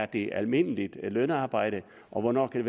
det er almindeligt lønarbejde og hvornår det